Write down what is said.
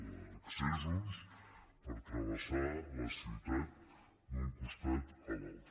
d’accessos per travessar la ciutat d’un costat a l’altre